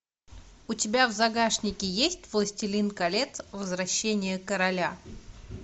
у тебя в загашнике есть властелин колец возвращение короля